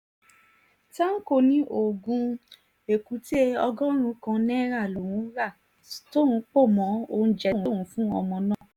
tanko ní oògùn èkúté ọgọ́rùn-ún kan náírà lòún ra tòun pọ̀ mọ́ oúnjẹ tí òun fún ọmọ náà